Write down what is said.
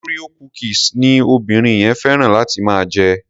Oreo cookies ni omobìnrin yẹn féràn láti máa jẹ.